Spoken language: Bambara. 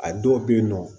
A dɔw bɛ yen nɔ